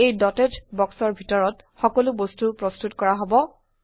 এই ডটেড বক্সৰ ভিতৰত সকলো বস্তু প্ৰস্তুত কৰা হব